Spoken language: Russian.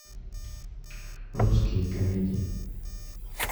русские комедии